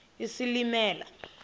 isilimela